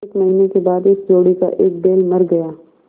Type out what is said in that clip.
एक महीने के बाद इस जोड़ी का एक बैल मर गया